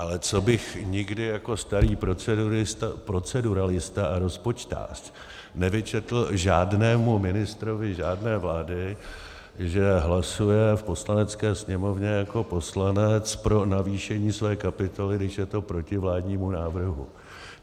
Ale co bych nikdy jako starý proceduralista a rozpočtář nevyčetl žádnému ministrovi žádné vlády, že hlasuje v Poslanecké sněmovně jako poslanec pro navýšení své kapitoly, když je to proti vládnímu návrhu.